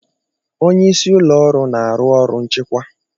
Onye isi ụlọ ọrụ na-arụ ọrụ nchịkwa.